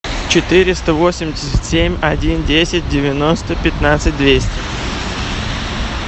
четыреста восемьдесят семь один десять девяносто пятнадцать двести